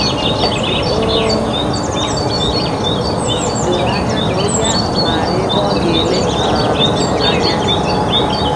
O doro anya na ohi ahụ maara ebe ọ ga-ele um anya.